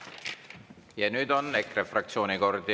Ja nüüd on EKRE fraktsiooni kord.